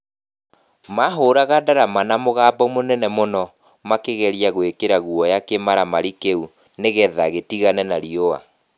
Maahũraga ndarama na mũgambo mũnene mũno makĩgeria gwikira guoya kĩmaramari kiu nigetha gitigane na riũa.